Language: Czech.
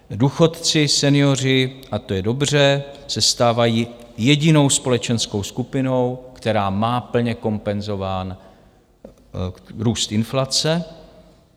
Důchodci, senioři, a to je dobře, se stávají jedinou společenskou skupinou, která má plně kompenzován růst inflace.